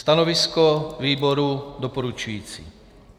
Stanovisko výboru doporučující.